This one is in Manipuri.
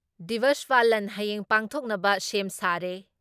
ꯗꯤꯕꯁ ꯄꯥꯂꯟ ꯍꯌꯦꯡ ꯄꯥꯡꯊꯣꯛꯅꯕ ꯁꯦꯝ ꯁꯥꯔꯦ ꯫